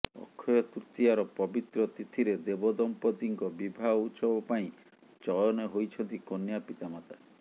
ଅକ୍ଷୟ ତୃତୀୟାର ପବିତ୍ର ତିଥିରେ ଦେବଦମ୍ପତିଙ୍କ ବିବାହ ଉତ୍ସବ ପାଇଁ ଚୟନ ହୋଇଛନ୍ତି କନ୍ୟା ପିତାମାତା